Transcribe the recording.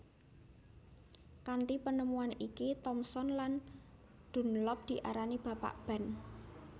Kanthi penemuan iki Thomson lan Dunlop diarani Bapak Ban